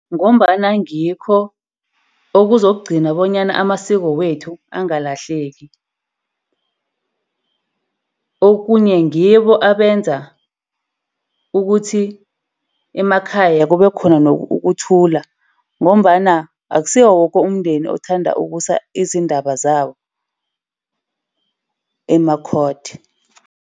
Ngombana ngikho okuzokugcina bonyana amasiko wethu angalahleki. Okhunye ngibo abenza ukuthi emakhaya kube khona ukuthula, ngombana akusiwo woke umndeni othanda ukusa izindaba zawo ema-court.